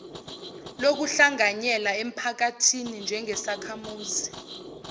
lokuhlanganyela emphakathini njengesakhamuzi